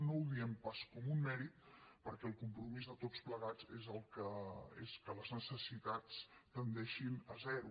no ho diem pas com un mèrit perquè el compromís de tots plegats és que les necessitats tendeixin a zero